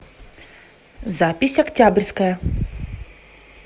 запись октябрьская